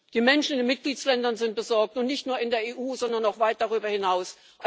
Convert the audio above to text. Die Menschen in den Mitgliedstaaten sind besorgt, und nicht nur in der EU, sondern auch weit darüber hinaus.